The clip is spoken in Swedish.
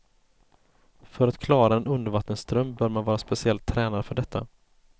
För att klara en undervattensström bör man vara speciellt tränad för detta.